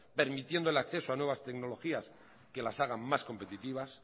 permitiendo el acceso a nuevas tecnologías que las hagan más competitivas